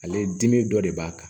Ale dimi dɔ de b'a kan